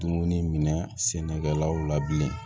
Dumuni minɛ sɛnɛkɛlaw la bilen